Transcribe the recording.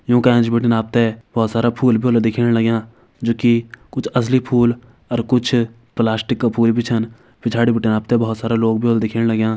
यूँ का एंच बटिन आपते बोहोत सारा फूल भी व्हला दिखेण लग्यां जु कि कुछ असली फूल अर कुछ प्लास्टिक क फूल भी छन पिछाड़ी बटे आपते भोत सारा लोग भी ह्वला दिखेण लग्यां।